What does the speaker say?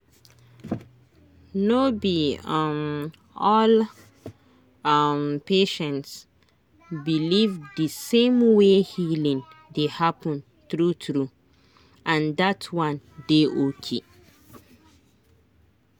no be um all um patient believe the same way healing dey happen true true—and that one dey okay.